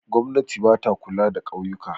Gwamnati ba ta kula da ƙauyuka.